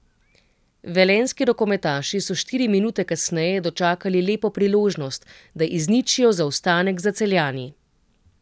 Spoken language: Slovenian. Velenjski rokometaši so štiri minute kasneje dočakali lepo priložnost, da izničijo zaostanek za Celjani.